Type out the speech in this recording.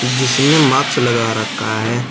जिसने माक्स लगा रखा है।